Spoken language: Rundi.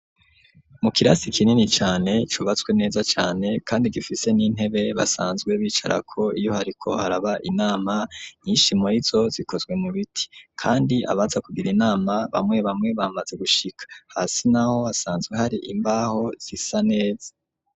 Mu kirasi kinini cane cubatswe neza cane kandi gifise n'intebe basanzwe bicara ko iyo hariko haraba inama n'ishimorizo zikozwe mu biti kandi abaza kugira inama bamwe bamwe bamaze gushika hasi naho hasanzwe hari imbaho zisa neza.